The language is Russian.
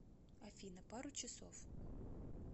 афина пару часов